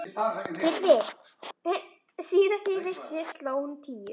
TRYGGVI: Síðast þegar ég vissi sló hún tíu.